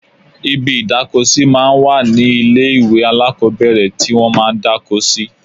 Ibi ìdáko sí máa ń wà ní ilé ìwé alákọ́bẹ̀rẹ̀ tí wọ́n máa ń dáko sí